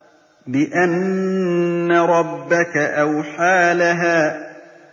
بِأَنَّ رَبَّكَ أَوْحَىٰ لَهَا